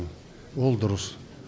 ол дұрыс